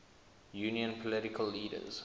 union political leaders